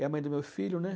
a mãe do meu filho, né?